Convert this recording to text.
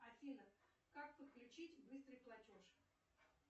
афина как подключить быстрый платеж